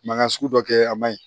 Mankan sugu dɔ kɛ a man ɲi